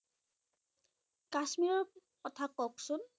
কাশ্মীৰৰ কথা কওকচোন।